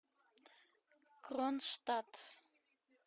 кронштадт